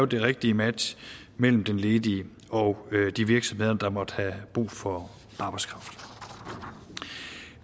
det rigtige match mellem den ledige og de virksomheder der måtte have brug for arbejdskraft